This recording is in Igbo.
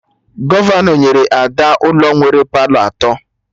Gọvanọ nyere Ada ụlọ nwere Palọ atọ